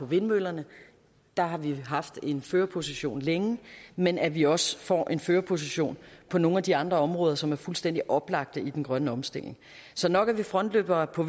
vindmøllerne der har vi haft en førerposition længe men at vi også får en førerposition på nogle af de andre områder som er fuldstændig oplagte i den grønne omstilling så nok er vi frontløbere på